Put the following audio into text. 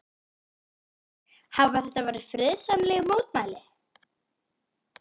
Höskuldur, hafa þetta verið friðsamleg mótmæli?